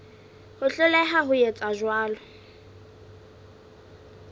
ho hloleha ho etsa jwalo